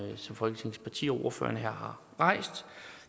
som folketingets partier og ordførerne her har rejst